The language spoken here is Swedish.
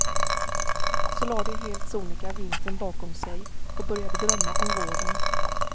Så la de helt sonika vintern bakom sig och började drömma om våren.